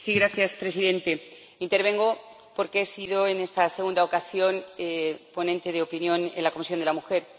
Señor Presidente, intervengo porque he sido, en esta segunda ocasión, ponente de opinión de la Comisión de la Mujer.